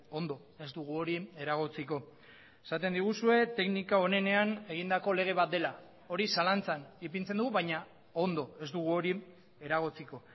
ondo ez dugu hori eragotziko esaten diguzue teknika onenean egindako lege bat dela hori zalantzan ipintzen dugu baina ondo ez dugu hori eragotziko